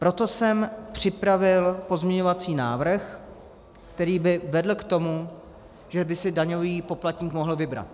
Proto jsem připravil pozměňovací návrh, který by vedl k tomu, že by si daňový poplatník mohl vybrat.